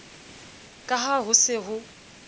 ka ha ho se ho